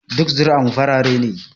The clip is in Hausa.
Duk zuri'ar mu farare ne